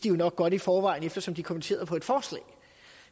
jo nok godt i forvejen eftersom de kommenterede et forslag